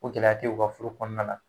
Ko gɛlɛya te u ka furu kɔnɔna na.